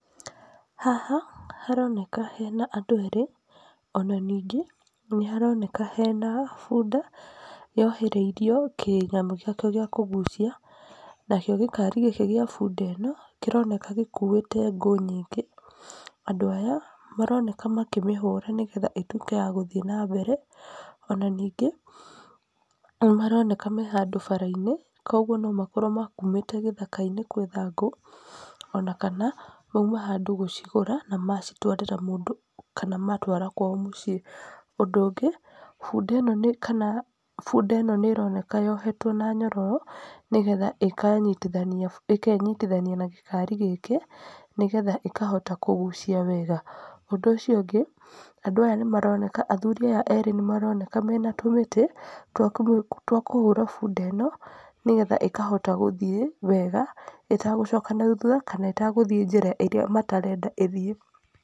Haha haroneka hena andũ erĩ, ona ningĩ nĩharoneka hena bunda yohereiro kĩnyamũ gĩakĩo gĩa kũgucia. Nakĩo gĩkari gĩkĩ gĩa bunda ĩno, kĩroneka gĩkuĩte ngũ nyingĩ. Andũ aya maroneka makĩmĩhũra nĩgetha ĩtuĩke ya gũthiĩ na mbere. Ona ningĩ, nĩmaroneka me handũ bara-inĩ kuoguo no makorwo mekumĩte gĩthaka-inĩ gwetha ngũ, ona kana mauma handũ gũcigũra na macitwarĩra mũndũ kana matwara kwao mũciĩ. Ũndũ ũngĩ, bunda ĩno kana bunda ĩno nĩroneka yohetwo na nyorororo nĩgetha ĩkanyitithania ĩkenyitithania na gĩkari gĩkĩ, nĩgetha ĩkahota kũgucia wega. Ũndũ ũcio ũngĩ, andũ aya nĩmaroneka, athuri aya erĩ nĩmaroneka mena tũmĩtĩ twa kũmĩ twa kũhũra bunda ĩno nĩgetha ĩkahota gũthiĩ wega ĩtagũcoka na thutha kana ĩtagũthiĩ njĩra ĩrĩa matareda ĩthiĩ.